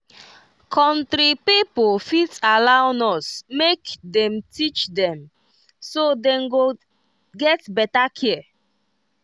country pipo fit allow nurse make dey teach dem so dem go get better care.